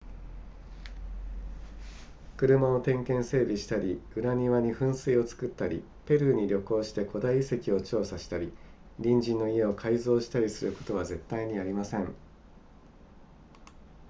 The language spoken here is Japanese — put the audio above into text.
車を点検整備したり裏庭に噴水を作ったりペルーに旅行して古代遺跡を調査したり隣人の家を改造したりすることは絶対にありません